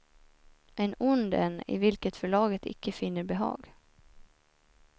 En ond en i vilken förlaget icke finner behag.